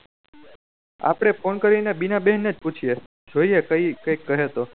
આપળે ફોન કરી ને બીના બેન ને જ પૂછ્યે જોયીયે કઈ કાયિક કહે તો